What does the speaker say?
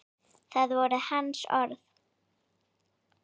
Það voru hans orð.